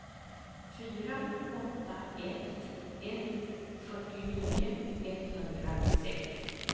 fyra åtta ett ett fyrtionio etthundrasex